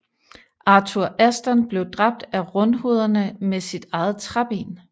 Arthur Aston blev dræbt af rundhovederne med sit eget træben